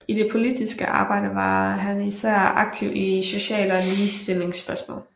I det politiske arbejde var han især aktiv i sociale og ligestillingsspørgsmål